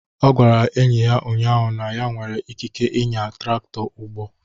Ọ gwara enyi ya ụnyaahụ na ya nwere ikike ịnya traktọ ugbo.